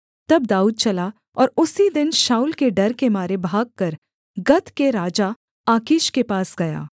तब दाऊद चला और उसी दिन शाऊल के डर के मारे भागकर गत के राजा आकीश के पास गया